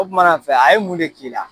O tumana fɛ a ye mun de k'i la